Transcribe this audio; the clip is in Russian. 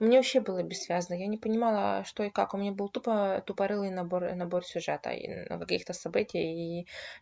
мне вообще было бессвязная я не понимала что и как мне было тупо тупорылый набор набор сюжета каких-то события и